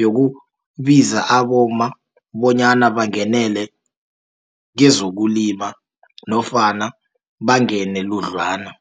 yokubiza abomma bonyana bangenele kezokulima, nofana bangene ludlana.